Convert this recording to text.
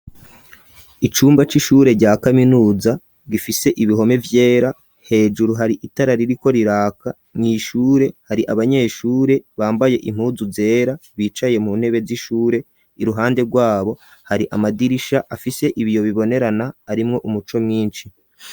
Icumba c'ishure rya kaminuza gifise ibihome vyera, hejuru hari itara ririko riraka mw'ishure hari abanyeshure bambaye impuzu zera bicaye mu ntebe z'ishure iruhande rwabo hari amadirisha afise ibiyo bibonerana arimwe umuco mwinshi.